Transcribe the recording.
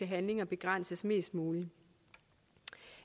handlinger begrænses mest muligt